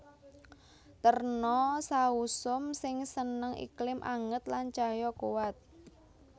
Terna sausum sing seneng iklim anget lan cahya kuwat